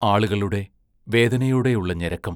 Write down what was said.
ആളുകളുടെ വേദനയോടെയുള്ള ഞരക്കം....